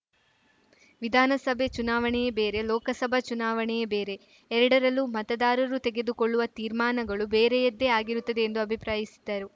ವಿಧಾನಸಭೆ ಚುನಾವಣೆಯೇ ಬೇರೆ ಲೋಕಸಭಾ ಚುನಾವಣೆಯೇ ಬೇರೆ ಎರಡರಲ್ಲೂ ಮತದಾರರು ತೆಗೆದುಕೊಳ್ಳುವ ತೀರ್ಮಾನಗಳು ಬೇರೆಯದ್ದೆ ಆಗಿರುತ್ತದೆ ಎಂದು ಅಭಿಪ್ರಾಯಿಸಿದರು